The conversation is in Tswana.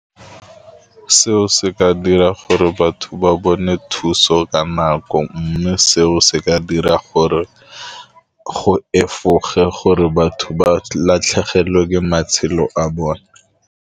Seo se ka dira gore batho ba bone thuso ka nako mme seo se ka dira gore go efoge gore batho ba latlhegelwe ke matshelo a bone.